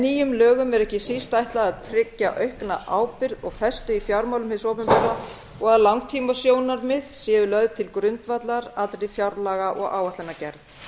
nýjum lögum er ekki síst ætlað að tryggja aukna ábyrgð og festu í fjármálum hins opinbera og að langtímasjónarmið séu lögð til grundvallar allri fjárlaga og áætlanagerð